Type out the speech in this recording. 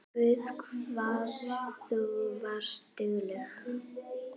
Guð hvað þú varst dugleg.